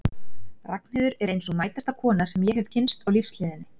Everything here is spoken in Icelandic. Ragnheiður er ein sú mætasta kona sem ég hef kynnst á lífsleiðinni.